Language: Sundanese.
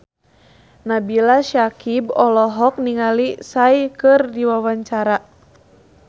Nabila Syakieb olohok ningali Psy keur diwawancara